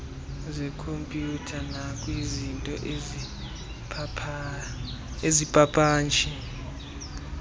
zekhompyutha nakwizinto azipapasha